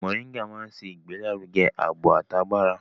Mọ̀ríngà máa ń ṣe ìgbélárugẹ ààbò àti agbára.